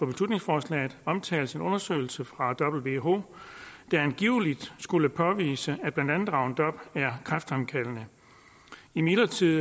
beslutningsforslaget omtales så en undersøgelse fra who der angiveligt påviser at blandt andet roundup er kræftfremkaldende imidlertid